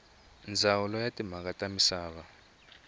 ndzawulo ya timhaka ta misava